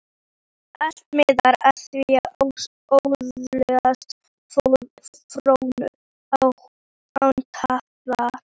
Allt miðar að því að öðlast fróun, án tafar.